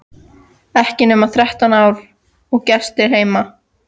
Ekki nema þrettán ára og gestir heima!